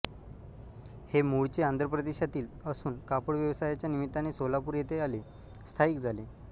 हे मूळचे आंध्रप्रदेशातील असून कापड व्यवसायाच्या निमित्ताने सोलापूर येथे आले स्थायिक झाले